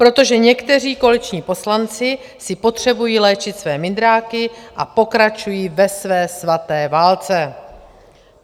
Protože někteří koaliční poslanci si potřebují léčit své mindráky a pokračují ve své svaté válce.